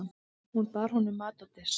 Hún bar honum mat á disk.